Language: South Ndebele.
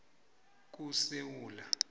kusewula